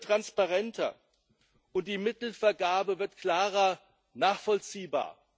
Das System wird transparenter und die Mittelvergabe wird klarer nachvollziehbar.